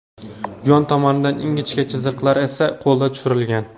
Yon tomonidagi ingichka chiziqlar esa qo‘lda tushirilgan.